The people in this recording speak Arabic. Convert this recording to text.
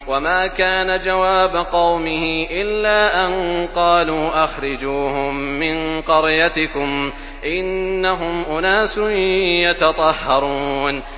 وَمَا كَانَ جَوَابَ قَوْمِهِ إِلَّا أَن قَالُوا أَخْرِجُوهُم مِّن قَرْيَتِكُمْ ۖ إِنَّهُمْ أُنَاسٌ يَتَطَهَّرُونَ